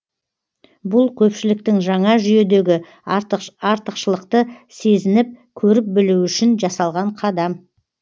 бұл көпшіліктің жаңа жүйедегі артықшылықты сезініп көріп білуі үшін жасалған қадам